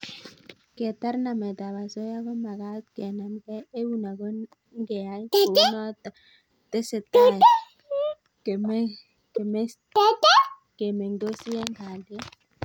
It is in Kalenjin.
Ketar nametab osoya ko magat kenamkei eun ago ngeyai kounoto ketesetai kemengtosi eng kalyet